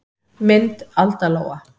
Mynd Alda Lóa.